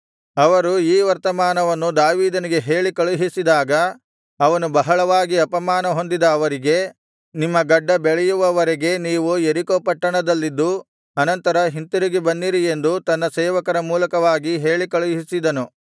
ಅವರು ಈ ವರ್ತಮಾನವನ್ನು ದಾವೀದನಿಗೆ ಹೇಳಿ ಕಳುಹಿಸಿದಾಗ ಅವನು ಬಹಳವಾಗಿ ಅಪಮಾನ ಹೊಂದಿದ ಅವರಿಗೆ ನಿಮ್ಮ ಗಡ್ಡ ಬೆಳೆಯುವವರೆಗೆ ನೀವು ಯೆರಿಕೋ ಪಟ್ಟಣದಲ್ಲಿದ್ದು ಅನಂತರ ಹಿಂತಿರುಗಿ ಬನ್ನಿರಿ ಎಂದು ತನ್ನ ಸೇವಕರ ಮೂಲಕ ಹೇಳಿಕಳುಹಿಸಿದ